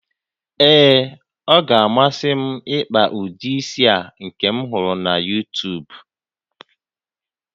Ee, ọ ga-amasị m ịkpa ụdị isi a nke m hụrụ na YuuTuub